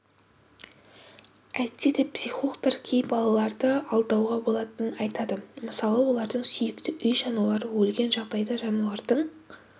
әйтсе де психологтар кей балаларды алдауға болатынын айтады мысалы олардың сүйікті үй жануары өлген жағдайда жануардың